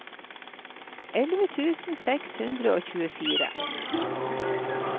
elleve tusen seks hundre og tjuefire